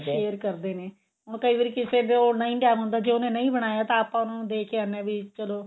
share ਕਰਦੇ ਨੇ ਹੁਣ ਕਈ ਵਾਰੀ ਕਿਸੇ ਕੋਲ ਨਹੀਂ time ਹੁੰਦਾ ਜੇ ਉਹਨੇ ਨਹੀਂ ਬਣਾਇਆ ਤਾਂ ਆਪਾਂ ਉਹਨਾ ਨੂੰ ਦੇਕੇ ਆਉਂਦੇ ਆਂ ਵੀ ਚੱਲੋ